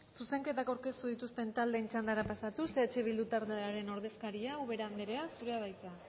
zuzenketak aurkeztu dituzten taldeen txandara pasatuz eh bildu taldearen ordezkaria ubera andrea zurea da hitza